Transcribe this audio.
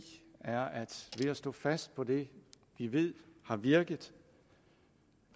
er at ved at stå fast på det vi ved har virket